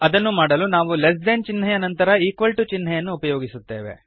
ಅದನ್ನು ಮಾಡಲು ನಾವು ಲೆಸ್ ದೆನ್ ಚಿಹ್ನೆಯ ನಂತರ ಈಕ್ವಲ್ ಟು ಚಿಹ್ನೆಯನ್ನು ಉಪಯೋಗಿಸುತ್ತೇವೆ